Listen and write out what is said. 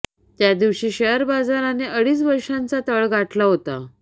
त्या दिवशी शेअर बाजाराने अडीच वर्षांचा तळ गाठला होता